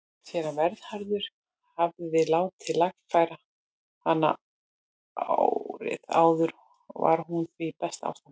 Séra Vernharður hafði látið lagfæra hana árið áður og var hún því í besta ástandi.